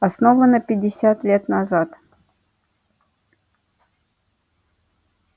основана пятьдесят лет назад